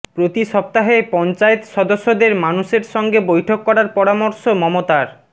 প্রতি সপ্তাহে পঞ্চায়েত সদস্যদের মানুষের সঙ্গে বৈঠক করার পরামর্শ মমতার